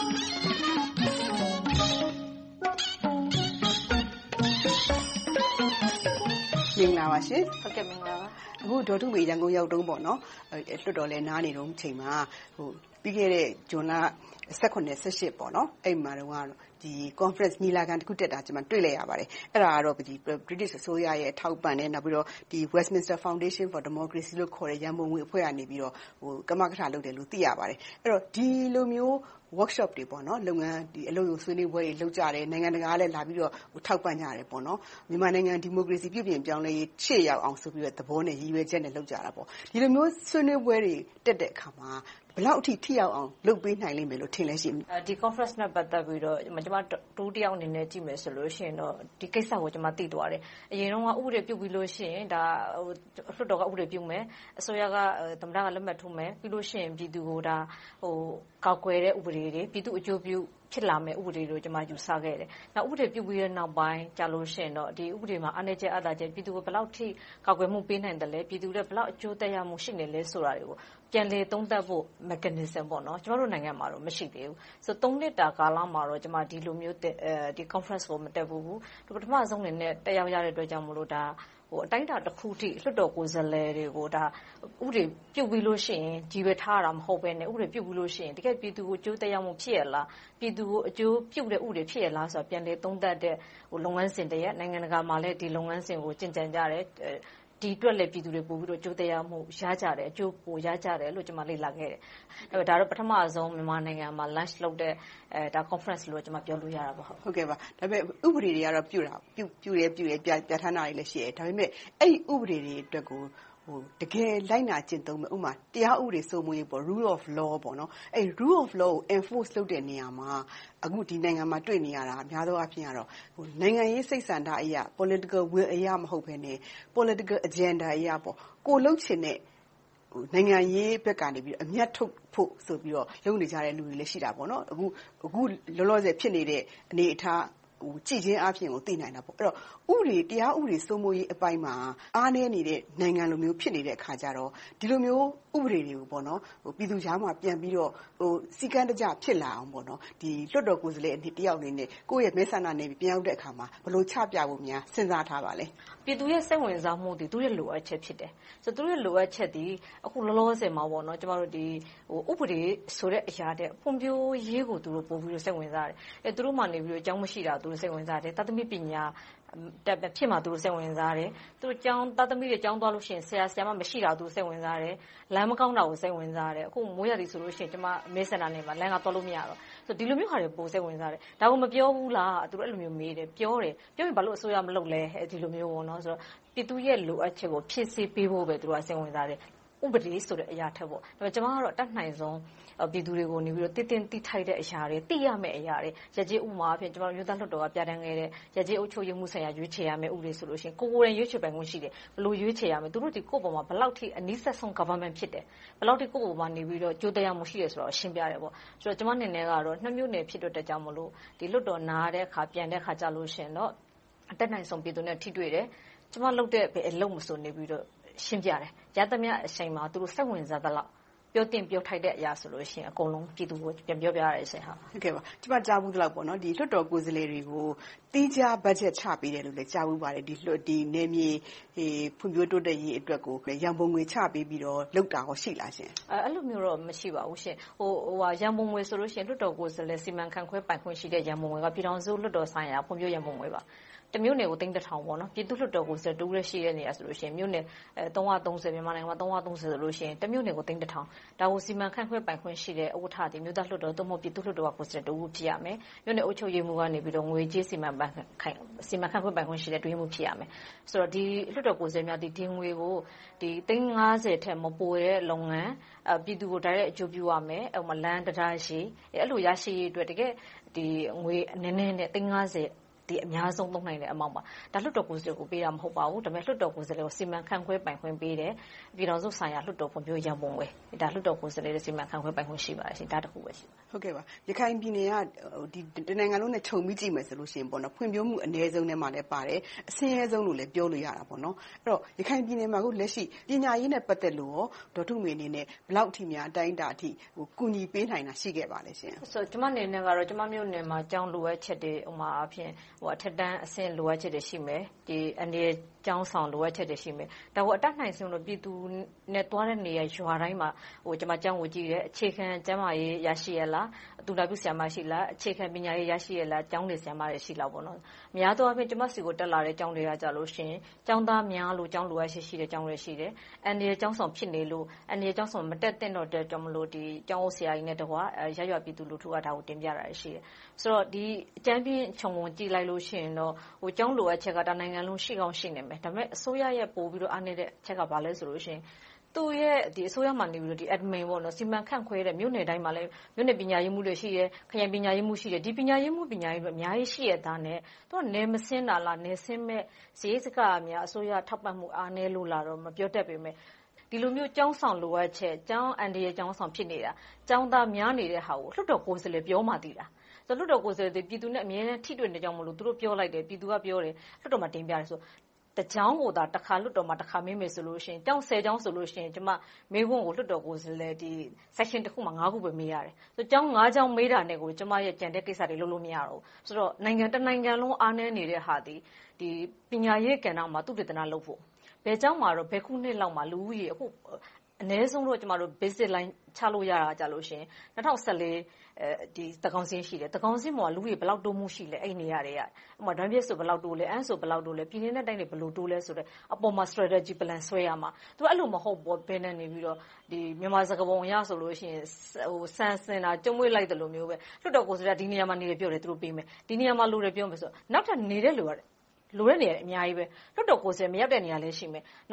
မင်္ဂလာပါရှင်။ အခု ဒေါ်ထုမေ ရန်ကုန်ရောက်တုန်း၊ လွှတ်တော်လည်း နားနေတုန်းအချိန်မှာ ပြီးခဲ့တဲ့ ဇွန်လ မှာ ညီလာခံတခုတက်တာကို ကျမ တွေ့လိုက်ရပါတယ်။ အဲဒါကတော့ ဗြိတိသျှအစိုးရရဲ့ ထောက်ပံ့မှုနဲ့ Westminster Foundation for Democracy ခေါ်တဲ့ ရန်ပုံငွေအဖွဲ့ကနေ ကမကထလုပ်တယ်လို့ သိရပါတယ်။ ဒီလိုမျိုး အလုပ်ရုံဆွေးနွေးပွဲ workshop တွေ လုပ်ကြတယ်။ နိုင်ငံတကာကလည်း ထောက်ပံ့ကြတယ်။ မြန်မာနိုင်ငံ ဒီမိုကရေစီ ပြုပြင်ပြောင်းလဲရေး ရှေ့ရောက်အောင်ဆိုတဲ့ သဘော၊ ရည်ရွယ်ချက်နဲ့ လုပ်ကြတယ်။ ဒီလိုမျိုး ဆွေးနွေးပွဲတွေ တက်တဲ့အခါမှာ ဘယ်လောက်အထိ ထိရောက်အောင် လုပ်ပေးနိုင်မယ်လို့ ထင်ပါလဲရှင့်။ ဒီကွန့်ဖရန့်နဲ့ ပတ်သက်ပြီးတော့ ကျမ တဦးတယောက်အနေနဲ့ ကြည့်မယ်ဆိုလို့ရှိရင်တော့ ဒီကိစ္စကို ကျမ သိသွားတယ်။ အရင်တုန်းက ဥပဒေပြုပြီးပြီဆိုရင် လွှတ်တော်က ဥပဒေပြုမယ်။ အစိုးရက သမ္မတက လက်မှတ်ထိုးမယ်။ ပြီးနောက် ပြည်သူကို ကာကွယ်တဲ့ဥပဒေတွေ၊ ပြည်သူ့အကျိုးပြု ဖြစ်လာမယ့် ဥပဒေတွေလို့ ကျမ ယူဆခဲ့တယ်။ ဥပဒေပြုပြီးတဲ့နောက်ပိုင်းမှာ ဒီဥပဒေမှာ အားနည်းချက်၊ အားသာချက်တွေ - ပြည်သူကို ဘယ်လောက်အထိ ကာကွယ်ပေးနိုင်သလဲ။ ပြည်သူအတွက် ဘယ်လောက်အကျိုးသက်ရောက်မှု ရှိနေသလဲဆိုတာတွေကို ပြန်လည်သုံးသပ်ဖို့ mechanism က ကျမတို့နိုင်ငံမှာ မရှိသေးဘူး။ သုံးနှစ်တာ ကာလမှာတော့ ကျမအနေနဲ့ ဒီလိုမျိုးကွန့်ဖရန့်ကို မတက်ဖူးဘူး။ ပထမဦးဆုံးအနေနဲ့ တက်ရောက်ခွင့်ရတဲ့အတွက် အတိုင်းအတာတခုအထိ လွှတ်တော်ကိုယ်စားလှယ်တွေကို ဥပဒေပြုပြီးတာပဲ ထားတာမဟုတ်ဘဲနဲ့ ဥပဒေပြုပြီးရင် တကယ့်ကို ပြည်သူကို အကျိုးသက်ရောက်မှု ရှိရဲ့လား။ ပြည်သူကို အကျိုးပြုတဲ့ဥပဒေ ဖြစ်ရဲ့လားဆိုတာကို ပြန်လည်သုံးသပ်တဲ့ လုပ်ငန်းစဉ်တရပ်။ နိုင်ငံတကာမှာလည်း ဒီလိုလုပ်ငန်းစဉ်မျိုးကို ကျင့်ကြံကြတယ်။ ဒီအတွက်လည်း ပြည်သူတွေ အကျိုးသက်ရောက်မှု ရကြတယ်။ အကျိုးပိုရကြတယ်လို့ ကျမ လေ့လာသိရှိခဲ့တယ်။ ဒါက ပထမဦးဆုံး မြန်မာနိုင်ငံမှာ Launch လုပ်တဲ့ Conference လို့ ပြောလို့ရတယ်။ ဥပဒေတွေကတော့ ပြုတယ်၊ ပြဌာန်းတာတွေလည်း ရှိတယ်။ ဒါပေမဲ့ အဲဒီဥပဒေတွေအတွက်ကို တကယ်လိုက်နာကျင့်သုံးမယ့် တရားဥပဒေ စိုးမိုးရေး Rule of Law ကို Enforce လုပ်တဲ့နေရာမှာ အခု ဒီနိုင်ငံမှာ တွေ့နေရတာက များသောအားဖြင့်ကတော့ နိုင်ငံရေးစိတ်ဆန္ဒအရ Political Will အရ မဟုတ်ဘဲနဲ့ Political Agenda အရ ကိုယ်လုပ်ချင်တဲ့ နိုင်ငံရေးဘက်ကနေ အမြတ်ထုတ်ဖို့ဆိုပြီးတော့ လုပ်နေကြတဲ့လူတွေလည်း ရှိကြတယ်။ အခုလောလောဆယ် ဖြစ်နေတဲ့ အနေအထားကို ကြည့်တာနဲ့ သိနိုင်တယ်။ အဲဒီတော့ တရားဥပဒေစိုးမိုးရေးပိုင်းမှာ အားနည်းနေတဲ့ နိုင်ငံလိုမျိုး ဖြစ်နေတော့ ဒီလိုမျိုး ဥပဒေတွေကို ပြည်သူကြားမှာ ပြန်ပြီးတော့ စည်းကမ်းတကျ ဖြစ်လာအောင် လွှတ်တော်ကိုယ်စားလှယ်တယောက်အနေနဲ့ ကိုယ့်ရဲ့မဲဆန္ဒနယ်မြေကို ပြန်ရောက်တဲ့အခါမှာ ဘယ်လိုချပြဖို့ စဉ်းစားထားပါသလဲ။ ပြည်သူရဲ့ စိတ်ဝင်စားမှုတွေက သူတို့ရဲ့ လိုအပ်ချက်တွေ ဖြစ်တယ်။ သူတို့ရဲ့ လိုအပ်ချက်သည် အခုလောလောဆယ်မှာ ဥပဒေဆိုတဲ့အရာထက် ဖွံ့ဖြိုးရေးကို သူတို့ပိုစိတ်ဝင်စားတယ်။ သူတို့မှာ ကျောင်းမရှိတာကို သူတို့စိတ်ဝင်စားတယ်။ သားသမီး ပညာတတ် မဖြစ်မှာကို စိတ်ဝင်စားတယ်။ သူတို့သားသမီးတွေ ကျောင်းသွားလို့ရှိရင် ဆရာ၊ ဆရာမ မရှိတာကို စိတ်ဝင်စားတယ်။ လမ်းမကောင်းတာကို စိတ်ဝင်စားတယ်။ အခု မိုးရာသီဆိုရင် ကျမ့မဲဆန္ဒနယ်မြေမှာ လမ်းတွေက သွားလို့မရတော့ဘူး။ ဒီလိုမျိုးဟာတွေကို ပိုစိတ်ဝင်စားတယ်။ ဒါကို မပြောဘူးလားလို့ သူတို့မေးကြတယ်။ ပြောတယ်ဆို ဘာဖြစ်လို့ အစိုးရက မလုပ်လဲ။ ဒီလိုမျိုး ပြည်သူရဲ့ လိုအပ်ချက်ကို ဖြည့်ဆည်းပေးဖို့ကိုပဲ သူတို့ စိတ်ဝင်စားတယ် - ဥပဒေအရာထက်။ ကျမကတော့ တတ်နိုင်ဆုံး ပြည်သူတွေကို သိသင့်သိထိုက်တဲ့အရာတွေ၊ သိရမယ့်အရာတွေ။ ကျမတို့ လွှတ်တော်က ပြဌာန်းခဲ့တဲ့ ရပ်ကျေးအုပ်ချုပ်ရေးမှူး ရွေးချယ်ရမယ့် ဥပဒေဆိုရင် ကိုယ်ကိုယ်တိုင် ရွေးချယ်ပိုင်ခွင့်ရှိတယ်။ ဘယ်လိုရွေးချယ်ရမလဲ။ သူတို့သည် ကိုယ့်အပေါ်မှာ ဘယ်လောက်အထိ အနီးစပ်ဆုံး အစိုးရဖြစ်တယ်။ ဘယ်လောက်အထိ အကျိုးသက်ရောက်မှု ရှိတယ်ဆိုတာကို ရှင်းပြတယ်။ ကျမအနေနဲ့ နှစ်မြို့နယ် ဖြစ်တဲ့အတွက်ကြောင့်မို့ လွှတ်တော်နားတဲ့အခါ၊ ပြန်တဲ့အခါ အတတ်နိုင်ဆုံး ပြည်သူနဲ့ ထိတွေ့တယ်။ ကျမလုပ်တဲ့ ဘယ်အလုပ်မဆို သူတို့ကို ရှင်းပြတယ်။ ရသမျှအချိန်မှာ သူတို့စိတ်ဝင်စားသလောက် ပြောသင့်ပြောထိုက်တဲ့အရာဆိုရင် အကုန်လုံးပြည်သူကို ပြန်ပြောပြတယ်။ ကျမ ကြားဖူးသလောက် လွှတ်တော်ကိုယ်စားလှယ်တွေကို သီးခြားဘတ်ဂျက်ချပေးတယ်လို့ ကြားဖူးပါတယ်။ နယ်မြေတွေ ဖွံ့ဖြိုးတိုးတက်ရေးအတွက် ရန်ပုံငွေ ချပေးပြီးတော့ လုပ်တာကော ရှိပါသလား။ အဲဒီလိုမျိုးတော့ မရှိပါဘူး။ ရန်ပုံငွေဆိုရင် လွှတ်တော်ကိုယ်စားလှယ် စီမံခန့်ခွဲပိုင်ခွင့်ရှိတဲ့ ရန်ပုံငွေက ပြည်ထောင်စုလွှတ်တော်ဆိုင်ရာ ဖွံ့ဖြိုးရေးရန်ပုံငွေပါ။ တမြို့နယ်ကို သိန်းတထောင် - ပြည်သူ့လွှတ်တော်တဦးတည်း ရှိတဲ့နေရာဆိုရင် မြန်မာနိုင်ငံမှာ မြို့နယ် ဆိုရင် တမြို့နယ်ကို သိန်းတထောင်။ ဒါကို စီမံခန့်ခွဲပိုင်ခွင့်ရှိတဲ့ ဥက္ကဋ္ဌသည် အမျိုးသားလွှတ်တော် ပြည်သူ့လွှတ်တော်က ကိုယ်စားလှယ်တဦး ဖြစ်ရမယ်။ မြို့နယ်အုပ်ချုပ်ရေးမှူးက ငွေကြေးစီမံခန့်ခွဲပိုင်ခွင့်ရှိတဲ့ အတွင်းရေးမှူး ဖြစ်ရမယ်။ လွှတ်တော်ကိုယ်စားလှယ်များသည် ဒီငွေကို သိန်းငါးဆယ်ထက်မပိုတဲ့ လုပ်ငန်း။ ပြည်သူကို တိုက်ရိုက်အကျိုးပြုရမယ် - ဥပမာ လမ်း၊ တံတားရှည် - အဲဒီလို ရရှိရေးအတွက် တကယ့်ငွေနည်းနည်းနဲ့ သိန်းငါးဆယ် အများဆုံး သုံးနိုင်တဲ့ amount ပါ။ ဒါက လွှတ်တော်ကိုယ်စားလှယ်ကို ပေးတာမဟုတ်ပါဘူး။ လွှတ်တော်ကိုယ်စားလှယ်ကို စီမံခန့်ခွဲပိုင်ခွင့် ပေးတယ်။ ပြည်ထောင်စုဆိုင်ရာ ဖွံ့ဖြိုးမှုရန်ပုံငွေ ဖြစ်ပြီး၊ လွှတ်တော်ကိုယ်စားလှယ် စီမံခန့်ခွဲပိုင်ခွင့် ရှိပါတယ်။ ဒီတခုပဲ ရှိပါတယ်။ ရခိုင်ပြည်နယ်က တနိုင်ငံလုံးနဲ့ခြုံပြီးကြည့်မယ်ဆိုရင် ဖွံ့ဖြိုးမှု အနည်းဆုံးထဲမှာလည်းပါတယ်။ အဆင်းရဲဆုံးလို့လည်း ပြောလို့ရတယ်။ အခု ရခိုင်ပြည်နယ်မှာ ပညာရေးနဲ့ ပတ်သက်လို့ ဒေါ်ထုမေအနေနဲ့ ဘယ်လောက်အထိများ အတိုင်းအတာအထိ ကူညီပေးနိုင်တာ ရှိခဲ့ပါလဲ။ ကျမအနေနဲ့ ကျမမြို့နယ်မှာ ကျောင်းတွေရဲ့ လိုအပ်ချက်တွေ။ ဥပမာ အထက်တန်းအဆင့် လိုအပ်ချက်တွေရှိတယ်။ အန္တရာယ်ကျောင်းဆောင် လိုအပ်ချက်တွေ ရှိမယ်။ ဒါကို အတတ်နိုင်ဆုံး ပြည်သူနဲ့ သွားတဲ့နေရာ၊ ရွာတိုင်းမှာ ကျမ ကျောင်းကိုကြည့်တယ်။ အခြေခံကျန်းမာရေး ရရှိရဲ့လား။ သူနာပြုဆရာမ ရှိလား။ အခြေခံပညာရေး ရရှိရဲ့လား။ ကျောင်းတွေမှာ ဆရာမတွေ ရှိလား။ များသောအားဖြင့် ကျမဆီကို တက်လာတဲ့ ကျောင်းတွေက ကျောင်းသားများလို့ ကျောင်းလိုအပ်ချက်ရှိတဲ့ ကျောင်းတွေရှိတယ်။ အန္တရာယ်ကျောင်းဆောင် ဖြစ်နေလို့ အန္တရာယ်ကျောင်းဆောင် မတက်သင့်တော့လို့ ကျောင်းအုပ်ဆရာကြီးနဲ့ ရပ်ရွာပြည်သူလူထုက ဒါကိုတင်ပြတာတွေ ရှိတယ်။ အကြမ်းဖျဉ်းခြုံငုံကြည့်လိုက်လို့ရှိရင် ကျောင်းလိုအပ်ချက်က တနိုင်ငံလုံး ရှိကောင်းရှိမယ်။ ဒါပေမဲ့ အစိုးရရဲ့ ပိုပြီးတော့ အားနည်းတဲ့အချက်က ဘာလဲဆိုရင် အစိုးရမှာအနေနဲ့ သူ့ရဲ့ စီမံခန့်ခွဲမှု - မြို့နယ်တိုင်းမှာ မြို့နယ်ပညာရေးမှူးတွေ ရှိတယ်။ ခရိုင်ပညာရေးမှူးလည်း ရှိတယ်။ ဒီပညာရေးမှူးတွေ အများကြီးရှိရဲ့သားနဲ့ သူတို့က နယ်မဆင်းတာလား။ နယ်ဆင်းရမယ့် စရိတ်စခကို အစိုးရက ထောက်ပံ့မှု အားနည်းနေလို့လား မပြောတတ်ပေမယ့် ဒီလိုမျိုး ကျောင်းဆောင်လိုအပ်ချက်၊ အန္တရာယ်ကျောင်းဆောင် လိုအပ်ချက်ဖြစ်နေတာ။ ကျောင်းသားများနေတာကို လွှတ်တော်ကိုယ်စားလှယ်ပြောမှသိတာ။ ဆိုတော့ လွှတ်တော်ကိုယ်စားလှယ်က ပြည်သူနဲ့ အမြဲတမ်း ထိတွေ့နေတာကြောင့် ပြည်သူကပြောတယ် - လွှတ်တော်မှာ တင်ပြတယ်။ တကျောင်းကိုသာ လွှတ်တော်မှာ တခါမေးမယ်ဆိုရင် ကျောင်းဆယ်ကျောင်းဆိုရင် ကျမအနေနဲ့ မေးခွန်းကို လွှတ်တော်ကိုယ်စားလှယ်အနေနဲ့ Section တခုမှာ မေးခွန်း ခုပဲ မေးခွင့်ရှိတယ်။ ကျောင်း ကျောင်း မေးတာနဲ့ကို ကျမရဲ့ ကျန်တဲ့ကိစ္စတွေ လုပ်လို့မရဘူး။ ဆိုတော့ တနိုင်ငံလုံး အားနည်းနေသည့်ဟာသည် ပညာရေးကဏ္ဍမှာ သုတေသနလုပ်ဖို့ ဘယ်ကျောင်းမှာတော့၊ ဘယ်ခုနှစ်လောက်မှာ လူဦးရေအနည်းဆုံး ချလို့ရတာက ၂၀၁၄ သန်းခေါင်စာရင်းရှိတယ်။ ဒီမှာ လူဦးရေ ဘယ်လောက်တိုးတက်မှုရှိလဲ - အဲဒီနေရာတွေမှာ။ ရမ်းဗြဲဆို ဘယ်လောက်တိုးလဲ။ အမ်းဆိုရင် ဘယ်လောက်တိုးလဲ။ ပြည်နယ်နဲ့တိုင်းတွေ ဘယ်လောက်တိုးလဲ - အပေါ်မှာ Strategy Plan ဆွဲရမယ်။ သူက အဲဒီလိုမဟုတ်ဘူး - မြန်မာစကားပုံအရဆိုရင် ဆန်စဉ်တာ ကျည်ပွေ့လိုက်သလိုမျိုး - လွှတ်တော်ကိုယ်စားလှယ်က ဒီနေရာမှာနေတယ်ပြောတယ် - သူတို့ပေးမယ်ပြောတယ်။ နောက်ထပ်လိုတဲ့နေရာတွေက အများကြီး။ လွှတ်တော်ကိုယ်စားလှယ် မရောက်တဲ့နေရာလည်း ရှိမယ်။